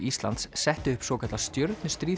Íslands settu upp svokallað